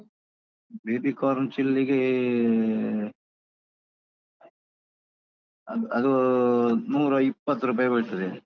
Baby corn ಚಿಲ್ಲಿಗೆ ಅದ್~ ಅದು ನೂರಾಇಪ್ಪತ್ರುಪಾಯಿ ಬೀಳ್ತದೆ.